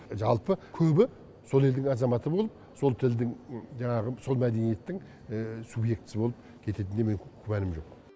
жалпы көбі сол елдің азаматы болып сол тілдің жаңағы сол мәдениеттің субъектісі болып кететінінен күмәнім жоқ